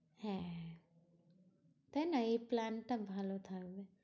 হ্যাঁ তাইনা? এই plan টা ভালো থাকবে।